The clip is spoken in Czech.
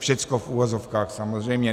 Všechno v uvozovkách, samozřejmě.